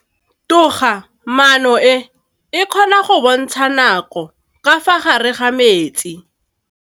Toga-maanô e, e kgona go bontsha nakô ka fa gare ga metsi.